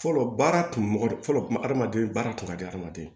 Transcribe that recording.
Fɔlɔ baara kun mɔgɔ fɔlɔ kun hadamaden baara kun ka di adamaden